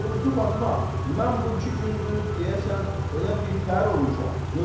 Doğrusu Fatma, mən bu iki gündür, deyəsən, elə birtəhər olmuşam.